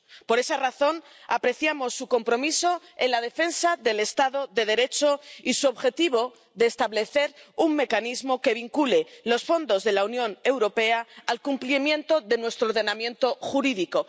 Por esa razón apreciamos su compromiso en la defensa del Estado de Derecho y su objetivo de establecer un mecanismo que vincule los fondos de la Unión Europea al cumplimiento de nuestro ordenamiento jurídico.